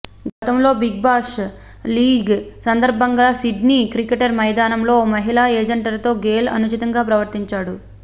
గతంలో Big Bash League సందర్భంగా Sydney cricket మైదానంలో ఓ మహిళా ప్రజెంటర్తో గేల్ అనుచితంగా ప్రవర్తించాడు